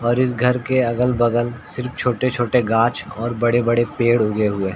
और इस घर के अगल-बगल सिर्फ छोटे-छोटे गाँछ और बड़े-बड़े पेड़ उगे हुए हैं।